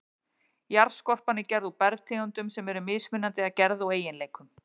Jarðskorpan er gerð úr bergtegundum sem eru mismunandi að gerð og eiginleikum.